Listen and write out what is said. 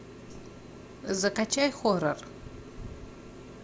закачай хоррор